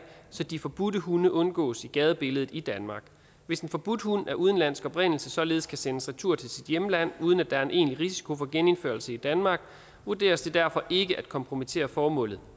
så de forbudte hunde undgås i gadebilledet i danmark hvis en forbudt hund af udenlandsk oprindelse således kan sendes retur til sit hjemland uden at der er en egentlig risiko for genindførsel i danmark vurderes det derfor ikke at kompromittere formålet